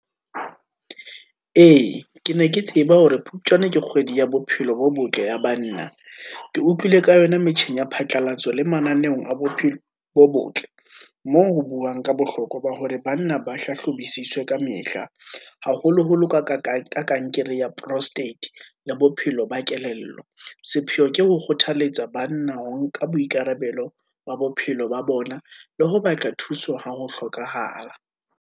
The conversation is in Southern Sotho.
Ee, ke ne ke tseba hore phupjane ke kgwedi ya bophelo bo botle ya banna, ke utlwile ka yona metjheng ya phatlalatso le mananeong a bo botle, moo ho buwang ka bohlokwa ba hore banna ba hlahlobisiswe kamehla, haholoholo ka kankere ya prostate, le bophelo ba kelello. Sepheo ke ho kgothalletsa banna ho nka boikarabelo ba bophelo ba bona, le ho batla thuso ha ho hlokahala.